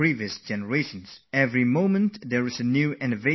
Every moment there is a new innovation, a new technology